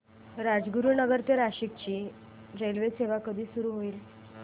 राजगुरूनगर ते नाशिक ची रेल्वेसेवा कधी सुरू होईल